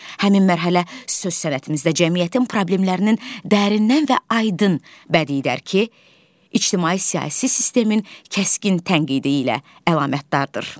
Həmin mərhələ söz sənətimizdə cəmiyyətin problemlərinin dərindən və aydın bədi dərki, ictimai siyasi sistemin kəskin tənqidi ilə əlamətdardır.